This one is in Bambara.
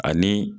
Ani